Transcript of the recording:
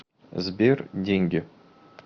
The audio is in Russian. сбер деньги